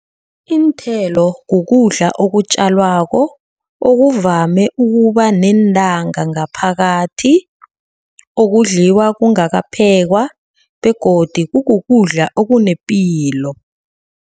Iinthelo kukudla okutjalwako. Okuvame ukuba neentanga ngaphakathi. Okudliwa kungakaphekwa begodu kukudla okunepilo.